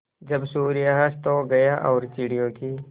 जब सूर्य अस्त हो गया और चिड़ियों की